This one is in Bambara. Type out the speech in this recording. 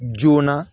Joona